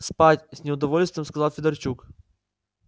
спать с неудовольствием сказал федорчук